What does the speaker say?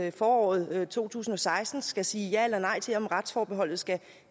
i foråret to tusind og seksten skal sige ja eller nej til om retsforbeholdet skal